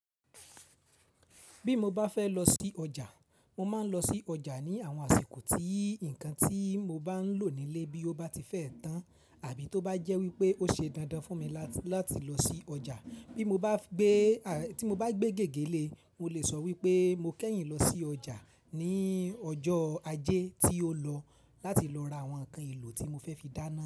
Bí mo bá fẹ́ lọ sí ọjà, mo máa ń lọ sí ọjà ní àwọn àsìkò tí nǹkan tí mo bá ń lò nílé bí ó bá ti fẹ́ tán àbí tó bá jẹ́ wípé ó ṣe dandan fún mi láti lọ sí ọjà. Bí mo bá gbé, tí mo bá gbé gégé lé, mo lè sọ wípé mo kẹ́yìn lọ sí ọjà ní ọjọ́ ajé tí ó lọ láti lọ ra àwọn ǹkan èlò tí mo fẹ́ fi dáná.